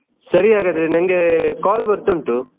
ಸರಿ ಹಾಗಾದ್ರೆ ನಂಗೆ call ಬರ್ತಾ ಉಂಟು.